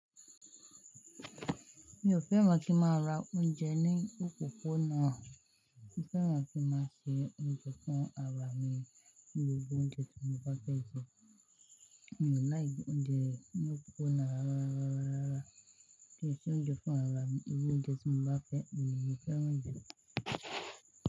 Mi ò fẹ́ran kí ń máa ra oúnjẹ ní òpópónà. Mo fẹ́ràn kí n máa se oúnjẹ fún ara mi ní gbogbo oúnjẹ tí mo bá fẹ́ jẹ. Mi ò láìki oúnjẹ ní òpópónà rara, rara, rara. Kí ẹ ṣe oúnjẹ fún ra ara mi ní gbogbo oúnjẹ tí mo bá fẹ́, èyí ni mo fẹ́ràn jù.